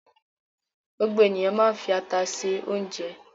Gbogbo ènìyàn máa ń fi ata se oúnjẹ.